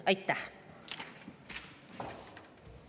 Aitäh!